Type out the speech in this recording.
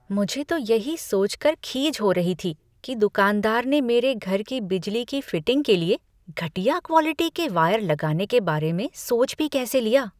मुझे तो यही सोचकर खीज हो रही थी कि दुकानदार ने मेरे घर की बिजली की फिटिंग के लिए घटिया क्वॉलिटी के वायर लगाने के बारे में सोच भी कैसे लिया।